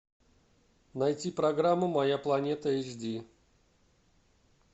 найти программу моя планета эйч ди